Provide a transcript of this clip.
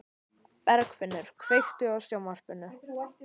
Bergfinnur, kveiktu á sjónvarpinu.